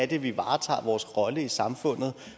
det er vi varetager vores rolle i samfundet